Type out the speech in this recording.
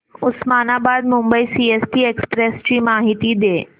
Osmanabad Mumbai CST express ची माहिती दे